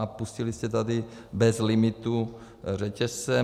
A pustili jste tady bez limitu řetězce.